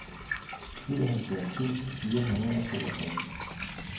syvoghalvfjerds tusind fire hundrede og toogtres